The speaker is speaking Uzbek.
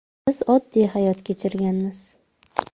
Biz oddiy hayot kechirganmiz.